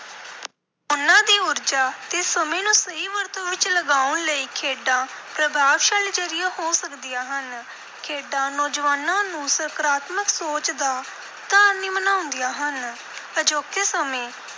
ਉਨ੍ਹਾਂ ਦੀ ਊਰਜਾ ਤੇ ਸਮੇਂ ਨੂੰ ਸਹੀ ਵਰਤੋਂ ਵਿਚ ਲਗਾਉਣ ਲਈ ਖੇਡਾਂ ਪ੍ਰਭਾਵਸ਼ਾਲੀ ਜ਼ਰੀਆ ਹੋ ਸਕਦੀਆਂ ਹਨ। ਖੇਡਾਂ ਨੌਜਵਾਨਾਂ ਨੂੰ ਸਕਾਰਾਤਮਕ ਸੋਚ ਦਾ ਧਾਰਨੀ ਬਣਾਉਂਦੀਆਂ ਹਨ। ਅਜੋਕੇ ਸਮੇਂ